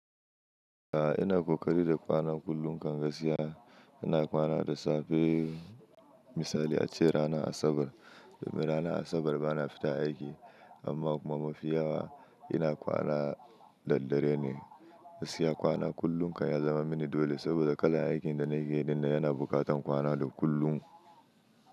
A'a ina ƙoƙari da kwana kullum kan gaskiya. Ina kwana da safe misali ace rana Asabar, domin rana Asabar bana fita aiki amma kuma mafiyawa ina kwana daddare ne. Gaskiya kwana kullunkan ya zama mini dole saboda kalan aikin da nake dinnan yana buƙatan kwana da kullum.